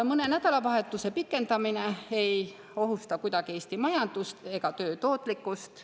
Mõne nädalavahetuse pikendamine ei ohusta kuidagi Eesti majandust ega töö tootlikkust.